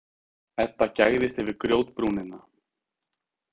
Edda gægðist yfir grjótbrúnina.